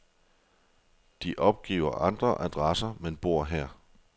De opgiver andre adresser, men bor her.